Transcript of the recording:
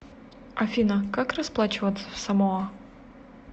афина как расплачиваться в самоа